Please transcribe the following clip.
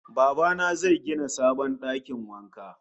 Baba na zai gina sabon dakin wanka